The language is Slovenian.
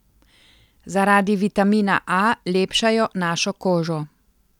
Zaradi vitamina A lepšajo našo kožo.